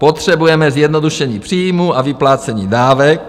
Potřebujeme zjednodušení příjmů a vyplácení dávek.